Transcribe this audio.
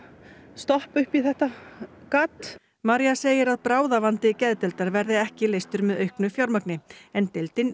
stoppa upp í þetta gat María segir að bráðavandi geðdeildar verði ekki leystur með auknu fjármagni en deildin